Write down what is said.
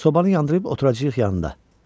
Sobanı yandırıb oturacağıq yanında.